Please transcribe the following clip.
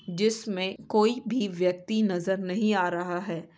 जिसमें कोई भी व्यक्ति नजर नहीं आ रहा है।